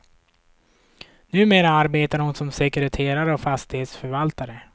Numera arbetar hon som sekreterare och fastighetsförvaltare.